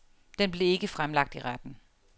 Den blev ikke fremlagt i retten.